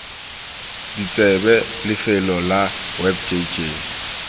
ditsebe lefelo la web jj